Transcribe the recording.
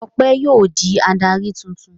Ọpẹ́ yóò di adarí tuntun.